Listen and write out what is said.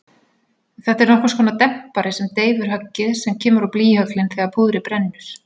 Þetta er nokkurskonar dempari sem deyfir höggið sem kemur á blýhöglin þegar púðrið brennur.